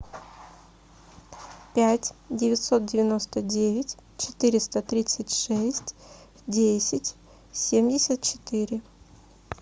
пять девятьсот девяносто девять четыреста тридцать шесть десять семьдесят четыре